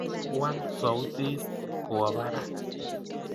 Waal sautit kowaa Barak